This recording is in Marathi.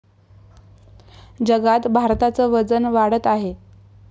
जगात भारताचं वजन वाढत आहे.